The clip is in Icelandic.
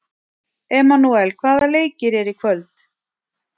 Emanúel, hvaða leikir eru í kvöld?